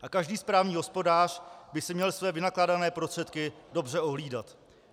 A každý správný hospodář by si měl své vynakládané prostředky dobře ohlídat.